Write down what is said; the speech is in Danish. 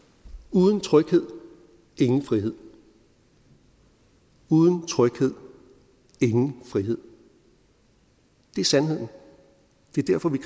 uden tryghed ingen frihed uden tryghed ingen frihed det er sandheden det er derfor vi